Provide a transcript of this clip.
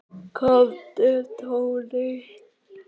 Komdu Tóti.